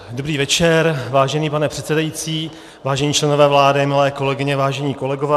Dobrý večer, vážený pane předsedající, vážení členové vlády, milé kolegyně, vážení kolegové.